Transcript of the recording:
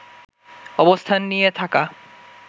অবস্থান নিয়ে থাকা